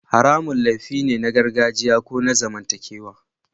Haramun laifi ne na gargajiya ko na zamantakewa